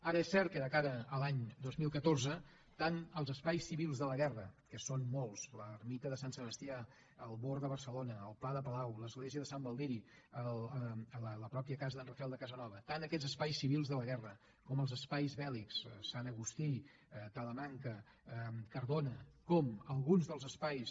ara és cert que de cara a l’any dos mil catorze tant els espais civils de la guerra que són molts l’ermita de sant sebastià el born de barcelona el pla de palau l’església de sant baldiri la pròpia casa d’en rafael de casanova tant aquests espais civils de la guerra com els espais bèl·lics sant agustí talamanca cardona com alguns dels espais